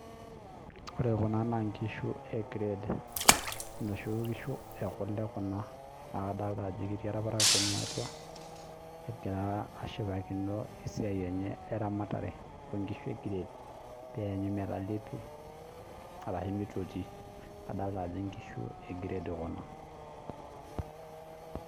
Wore kuna naa inkishu e grade, inoshi kishu ekule kuna, naa kadoolta ajo etii olparakuoni atua, ekira aashipakino esiai enye eramatare oonkishu e grade peeanyu metalepi arashu mitotii. Adoolta ajo inkishu e grade kuna.